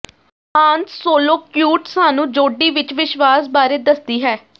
ਹਾਨ Solo cute ਸਾਨੂੰ ਜੋਡੀ ਵਿਚ ਵਿਸ਼ਵਾਸ ਬਾਰੇ ਦੱਸਦੀ ਹੈ